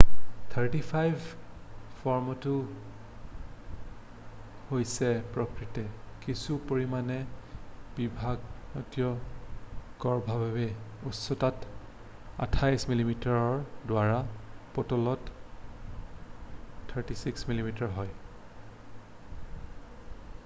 ৩৫mm ফৰ্মেটটো হৈছে প্ৰকৃততে কিছু পৰিমাণে বিভ্ৰান্তিকৰভাৱে উচ্চতাত ২৪mm ৰ দ্বাৰা পুতলত ৩৬mm হয়৷